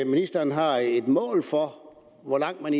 ministeren har et mål for hvor langt man